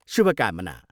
शुभकामना!